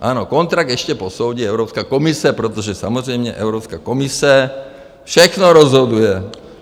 Ano, kontrakt ještě posoudí Evropská komise, protože samozřejmě Evropská komise všechno rozhoduje.